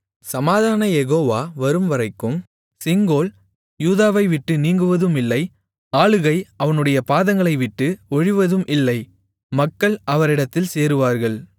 சமாதானக் யெகோவா வரும்வரைக்கும் செங்கோல் யூதாவைவிட்டு நீங்குவதும் இல்லை ஆளுகை அவனுடைய பாதங்களைவிட்டு ஒழிவதும் இல்லை மக்கள் அவரிடத்தில் சேருவார்கள்